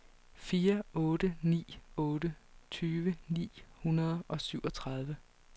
fire otte ni otte tyve ni hundrede og syvogtredive